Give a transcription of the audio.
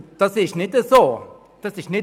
Das ist nicht der Fall!